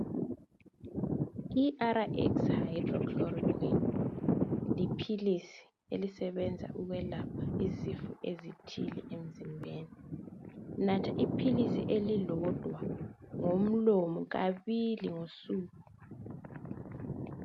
I-RX hydrochloroquine liphilisi elisebenza ukwelapha izifo ezithile emzimbeni. Natha iphilisi elilodwa ngomlomo kabili ngosuku.